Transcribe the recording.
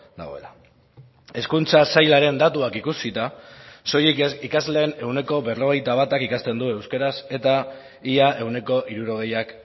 dagoela hezkuntza sailaren datuak ikusita soilik ikasleen ehuneko berrogeita batak ikasten du euskaraz eta ia ehuneko hirurogeiak